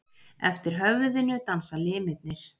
Eftir höfðinu dansa limirnir.